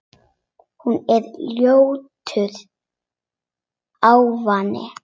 Hún er ljótur ávani.